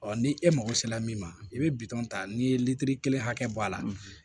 Ɔ ni e mago sera min ma i bɛ bitɔn ta n'i ye litiri kelen hakɛ bɔ a la